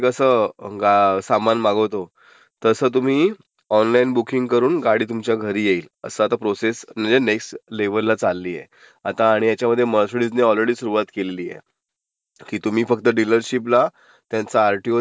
कसं सामान मागवतो, तसं तुम्ही.. ऑनलाइन बुकींग करून गाडी तुमच्या घरी येईल. असं प्रोसेस म्हणजे नेक्स्ट लेव्हलला चाललिय. आता आणि ह्याच्यामध्ये मर्सिडीजने ऑलरेडी सुरूवात केलेली आहे. की तुम्ही फक्त डीलरशिपला त्यांच आरटीओ